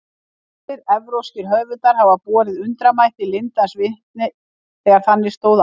Ýmsir evrópskir höfundar hafa borið undramætti lindans vitni þegar þannig stóð á.